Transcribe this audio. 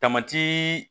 Tamati